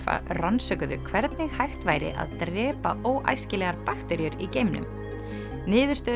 rannsökuðu hvernig hægt væri að drepa óæskilegar bakteríur í geimnum niðurstöður